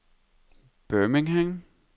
Birmingham